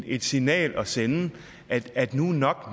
et signal at sende at nu er nok